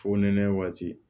Fu nɛnɛ waati